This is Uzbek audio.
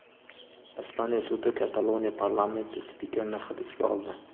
Ispaniya sudi Kataloniya parlamenti spikerini hibsga oldi.